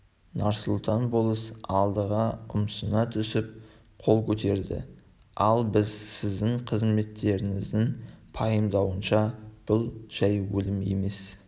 нарсұлтан болыс алдыға ұмсына түсіп қол көтерді ал біз сіздің қызметшілеріңіздің пайымдауынша бұл жай өлім емес